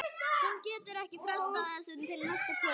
Hún getur ekki frestað þessu til næsta kvölds.